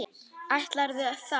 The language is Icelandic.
Ætlarðu þá?